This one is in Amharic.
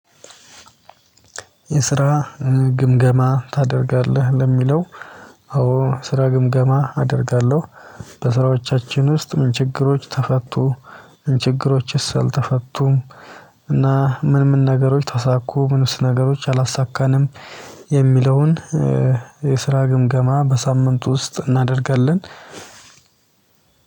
የስራ ግምገማ ታደርጋለህ ለሚለው? አዎ ስራ ግምገማ አደርጋለሁ። በስራዎቻችን ውስጥ ምን ችግሮች ተፈቱ ምን ችግሮችስ አልተፈቱም። እና ምን ምን ነገሮች ታሳኩ ምንስ ነገሮች አላሳካንም። የሚለውን የስራ ግምገማ በሳምንቱ ውስጥ እናደርጋለን።